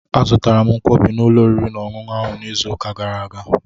Azụtara m Nkwobi n'ụlọ oriri na ọṅụṅụ ahụ n'izu ụka gara aga.